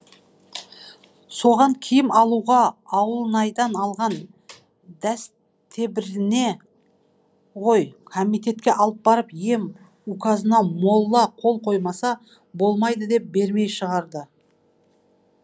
соған киім алуға ауылнайдан алған ғой комитетке алып барып ем указына молла қол қоймаса болмайды деп бермей шығарды